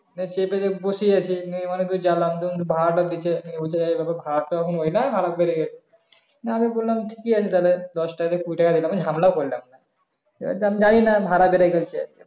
চেপে যাক বসে আছি ভাড়া টা দিচ্ছে ভাড়া তো ওই না আরো বেরে গেছে আমি বললাম কি আছে দাদা দশ টাকা থেকে কুড়ি টাকা দিলাম আমি হামলা করলাম আমি যানি না ভাড়া বেরে গেছে